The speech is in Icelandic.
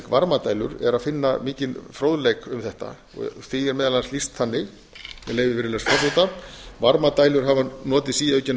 varmadælur er að finna mikinn fróðleik um þetta því er meðal annars lýst þannig með leyfi virðulegs forseta varmadælur hafa notið síaukinna vinsælda